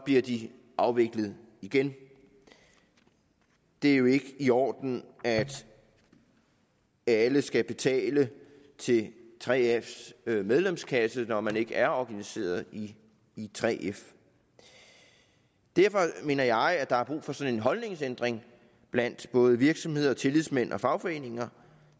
bliver de afviklet igen det er jo ikke i orden at alle skal betale til 3fs medlemskasse når man ikke er organiseret i 3f derfor mener jeg at der er brug for sådan en holdningsændring blandt både virksomheder tillidsmænd og fagforeninger